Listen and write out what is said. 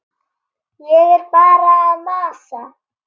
Ég er bara að masa.